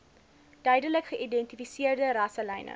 duidelik geïdentifiseerde rasselyne